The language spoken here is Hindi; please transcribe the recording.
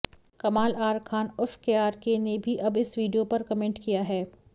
कमाल आर खान उर्फ केआरके ने भी अब इस वीडियो पर कमेंट किया है